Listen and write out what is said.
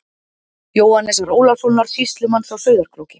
Jóhannesar Ólafssonar sýslumanns á Sauðárkróki.